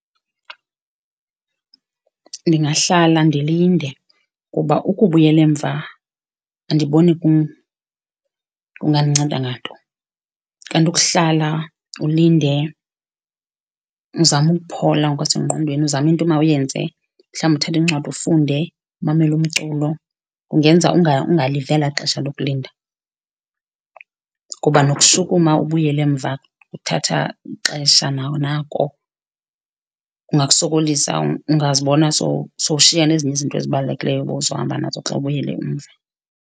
Ndingahlala ndilinde kuba ukubuyela emva andiboni kungandinceda nganto. Kanti ukuhlala ulinde uzame ukuphola ngokwasengqondweni, uzame into omawuyenze. Mhlawumbi uthathe iincwadi ufunde, umamela umculo kungenza ungaliva elaa xesha lokulinda kuba nokushukuma ubuyele emva kuthatha ixesha nawo nako, kungakusokolisa. Ungazibona sowushiya nezinye izinto ezibalulekileyo obuzohamba nazo xa ubuyele umva.